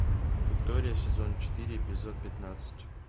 виктория сезон четыре эпизод пятнадцать